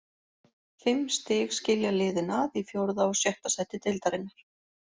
Fimm stig skilja liðin að í fjórða og sjötta sæti deildarinnar.